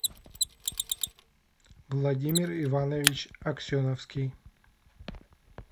владимир иванович аксеновский